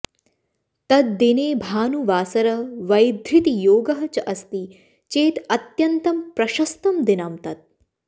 तद्दिने भानुवासरः वैधृतियोगः च अस्ति चेत अत्यन्तं प्रशस्तं दिनं तत्